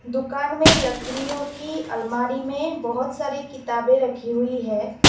दुकान में लकड़ीयों की अलमारी में बहोत सारे किताबें रखी हुई है।